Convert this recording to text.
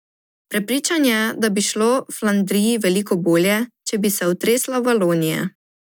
Prepričan je, da bi šlo Flandriji veliko bolje, če bi se otresla Valonije.